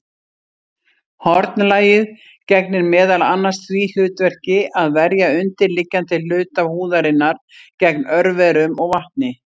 Hornlagið gegnir meðal annars því hlutverki að verja undirliggjandi hluta húðarinnar gegn örverum og vatni.